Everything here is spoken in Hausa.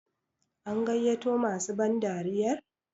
an gaiyato masu bandariyar?